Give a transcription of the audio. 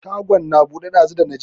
Shagon na buɗe ɗazu dana je.